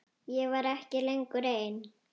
Ég var ekki lengur ein.